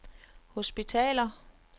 hospitaler